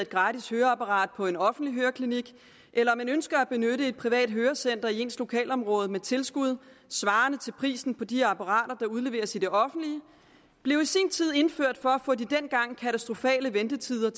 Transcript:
gratis høreapparat på en offentlig klinik eller man ønsker at benytte et privat hørecenter i ens lokalområde med tilskud svarende til prisen på de apparater der udleveres i det offentlige blev i sin tid indført for at få de dengang katastrofale ventetider